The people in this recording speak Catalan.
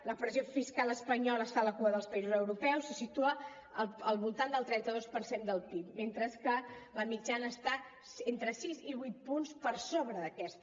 la pressió fiscal espanyola està a la cua dels països europeus se situa al voltant del trenta dos per cent del pib mentre que la mitjana està entre sis i vuit punts per sobre d’aquesta